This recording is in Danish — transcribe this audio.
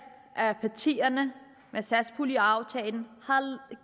af partierne med satspuljeaftalen har